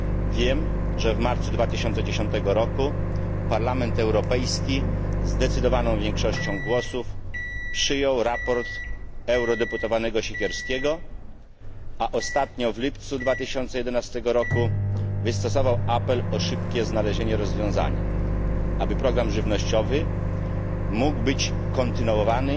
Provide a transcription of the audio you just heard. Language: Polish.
Wiem, że w marcu 2009 roku Parlament Europejski zdecydowaną większością głosów przyjął sprawozdanie posła Siekierskiego, a ostatnio w lipcu 2011 roku wystosował apel o szybkie znalezienie rozwiązania, aby program żywnościowy mógł być kontynuowany